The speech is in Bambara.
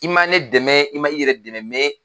I ma ne dɛmɛ i ma i yɛrɛ dɛmɛ